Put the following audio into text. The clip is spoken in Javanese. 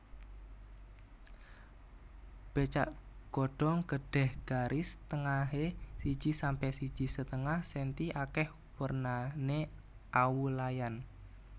Becak godhong gedhé garis tengahé siji sampe siji setengah senti akèh wernané awu layan